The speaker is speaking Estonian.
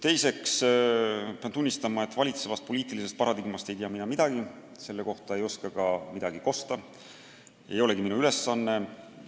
Teiseks, pean tunnistama, et valitsevast poliitilisest paradigmast ei tea mina midagi, selle kohta ei oska ma midagi kosta ja see ei olegi minu ülesanne.